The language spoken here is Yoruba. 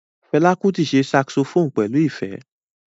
Fela Kuti ṣe saxophone pẹlu ifẹ.